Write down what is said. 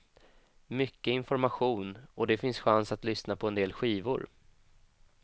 Mycket information och det finns chans att lyssna på en del skivor.